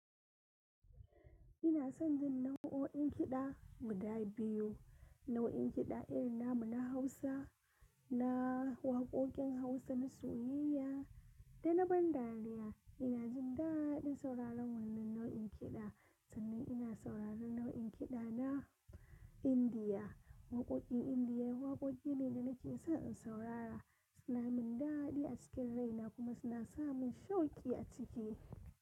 Ina son jin nau'o'in kiɗa guda biyu. Nau'in kiɗa irin na mu na Hausa, na waƙoƙin Hausa na soyayya da na ban dariya. Ina jin daɗin sauraron wannan nau'in kiɗa, sannan ina sauraron nau'in kiɗa na Indiya. Waƙoƙin Indiya waƙoƙi ne da nake son in saurara. Suna min daɗi a cikin rai na kuma suna sa min shauki a ciki.